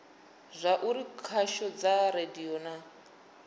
zwauri khasho dza radio na